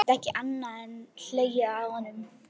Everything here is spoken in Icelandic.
Emil gat ekki annað en hlegið að honum.